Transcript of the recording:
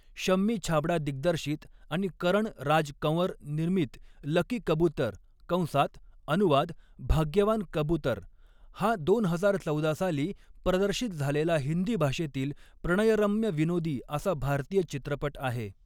शम्मी छाबड़ा दिग्दर्शित आणि करण राज कंवर निर्मित लकी कबुतर कंसात अनुवाद भाग्यवान कबुतर हा दोन हजार चौदा साली प्रदर्शित झालेला हिंदी भाषेतील प्रणयरम्य विनोदी असा भारतीय चित्रपट आहे.